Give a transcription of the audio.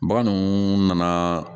Bagan nana